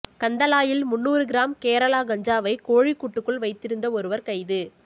கந்தளாயில் முந்நூறு கிராம் கேரளா கஞ்சாவை கோழிக்கூட்டுக்குள் வைத்திருந் ஒருவர் கைது